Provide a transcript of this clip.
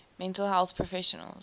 mental health professionals